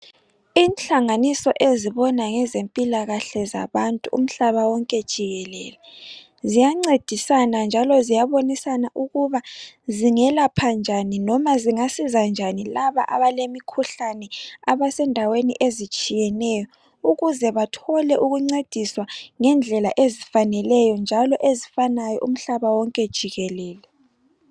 Inhlanganiso ezibona ngezempilakahle zabantu umhlaba wonke jikelele, ziyancedisana njalo ziyabonisana ukuba zingelapha njani noma zingasiza njani laba abalemikhuhlane abasendaweni ezitshiyeneyo ukuze bathole ukuncediswa ngendlela ezifaneleyo njalo ezifanayo umhlaba wonke jikelele.